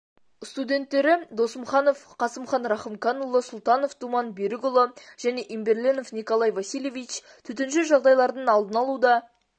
студенттері досымханов қасымхан рахымканұлы сұлтанов думан берікұлы және имберленов николай васильевич төтенше жағдайлардын алдын алуда